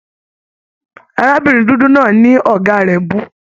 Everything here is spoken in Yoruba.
Arábìnrin dúdú náà ní ọgá rẹ bu.